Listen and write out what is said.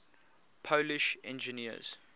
polish engineers